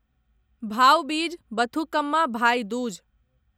भाउ बीज बथुकम्मा भाइ दूज